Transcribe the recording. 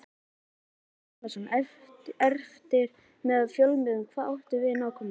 Gunnar Atli Gunnarsson: Eftirlit með fjölmiðlum, hvað áttu við nákvæmlega?